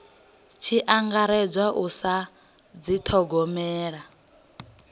tshi angaredzwa u sa dithogomela